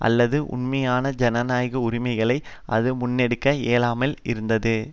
அல்லது உண்மையான ஜனநாயக உரிமைகளை அது முன்னெடுக்க இயலாமல் இருந்தது